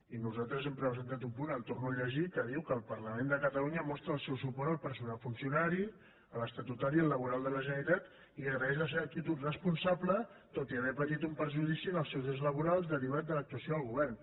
i nosaltres hem presentat un punt el torno a llegir que diu que el parlament de catalunya mostra el seu suport al personal funcionari a l’estatutari i al laboral de la generalitat i agraeix la seva actitud responsable tot i haver patit un perjudici en els seus drets laborals derivat de l’actuació del govern